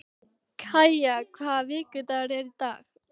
Kaja, hvaða vikudagur er í dag?